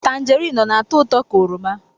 Tangerine ọ na-atọ ụtọ ka oroma?